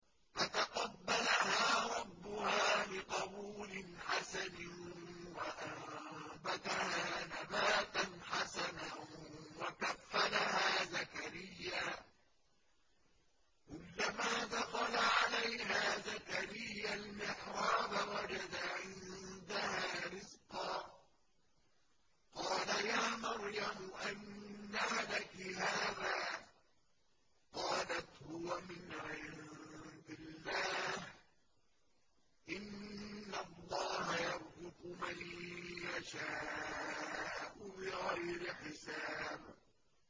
فَتَقَبَّلَهَا رَبُّهَا بِقَبُولٍ حَسَنٍ وَأَنبَتَهَا نَبَاتًا حَسَنًا وَكَفَّلَهَا زَكَرِيَّا ۖ كُلَّمَا دَخَلَ عَلَيْهَا زَكَرِيَّا الْمِحْرَابَ وَجَدَ عِندَهَا رِزْقًا ۖ قَالَ يَا مَرْيَمُ أَنَّىٰ لَكِ هَٰذَا ۖ قَالَتْ هُوَ مِنْ عِندِ اللَّهِ ۖ إِنَّ اللَّهَ يَرْزُقُ مَن يَشَاءُ بِغَيْرِ حِسَابٍ